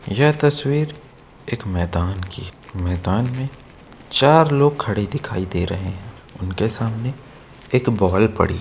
यह तस्वीर एक मैदान की है मैदान में चार लोग खड़े दिखाई दे रहे हैं उनके सामने एक बॉल पड़ी है।